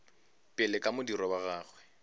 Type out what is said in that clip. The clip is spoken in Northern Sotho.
pele ka modiro wa gagwe